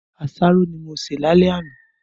Aṣáró ni mó sé làlẹ̀ ànà